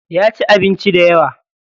Yaci abinci dayawa.